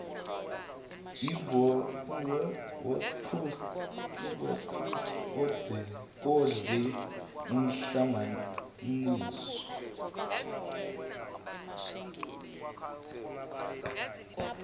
iworcester odle umhlanganiso